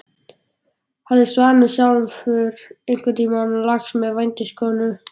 Hafði Svanur sjálfur einhvern tíma lagst með vændiskonu?